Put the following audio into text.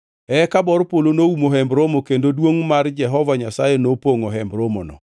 Eka bor polo noumo Hemb Romo kendo duongʼ mar Jehova Nyasaye nopongʼo Hemb Romono.